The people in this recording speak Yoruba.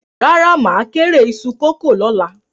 Rárá, mà á kórè iṣu kòkó lọ́la.